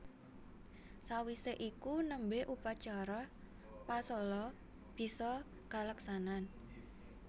Sawisé iku nembe upacara pasola bisa kaleksanan